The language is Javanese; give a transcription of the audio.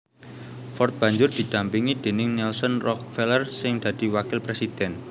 Ford banjur didampingi déning Nelson Rockefeller sing dadi wakil présidhèn